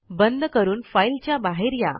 बंद करून फाईल च्या बाहेर या